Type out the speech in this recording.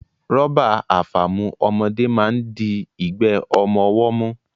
Rọ́bà àfàmu ọmọdé máa ń di igbe ọmọ ọwọ́ mú